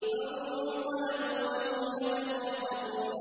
فَانطَلَقُوا وَهُمْ يَتَخَافَتُونَ